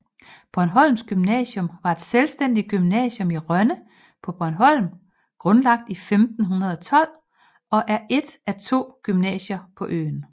Bornholms Gymnasium var et selvstændigt gymnasium i Rønne på Bornholm grundlagt 1512 og er et af to gymnasier på øen